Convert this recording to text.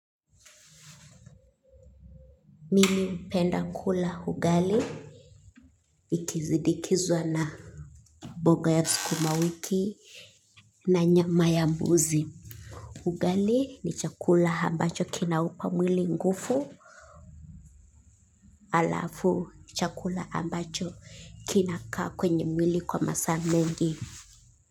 Mimi hupenda kula ugali. Ikisinidikizwa na mboga ya sukumawiki na nyama ya mbuzi. Ugali ni chakula ambacho kina upa mwili nguvu. Alafu chakula ambacho kina kaa kwenye mwili kwa masaa mengi.